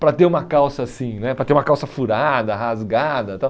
para ter uma calça assim né, para ter uma calça furada, rasgada e tal.